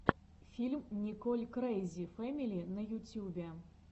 фильм николь крэйзи фэмили на ютьюбе